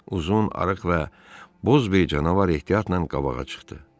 Uzun, arıq və boz bir canavar ehtiyatla qabağa çıxdı.